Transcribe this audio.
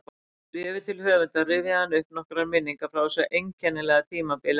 Í bréfi til höfundar rifjaði hann upp nokkrar minningar frá þessu einkennilega tímabili ævi sinnar